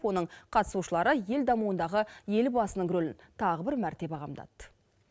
оның қатысушылары ел дамуындағы елбасының ролін тағы бір мәрте бағамдады